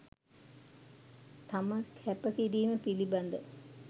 තම කැපකිරීම පිළිබඳ